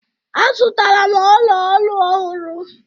Azụtara m ọla olu ọhụrụ